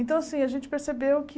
Então, assim, a gente percebeu que...